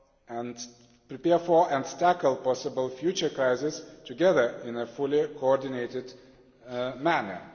and tackle possible future crises together in a fully coordinated manner.